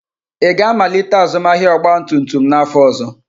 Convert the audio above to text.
Ị ga-amalite azụmahịa ọgba tum tum n'afọ ọzọ?